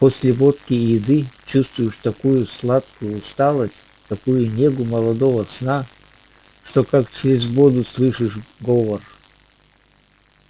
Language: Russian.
после водки и еды чувствуешь такую сладкую усталость такую негу молодого сна что как через воду слышишь говор